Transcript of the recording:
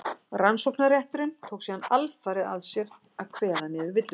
rannsóknarrétturinn tók síðan alfarið að sér að kveða niður villutrú